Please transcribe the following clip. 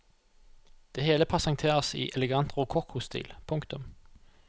Det hele presenteres i elegant rokokkostil. punktum